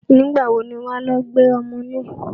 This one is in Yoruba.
Nígbà wo ni wà á lọ gbé ọmọ náà?